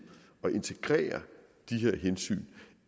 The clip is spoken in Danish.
at integrere de her hensyn